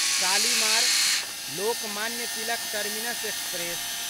Shalimar Lokmanya Tilak terminus express